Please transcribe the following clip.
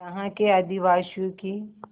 यहाँ के आदिवासियों की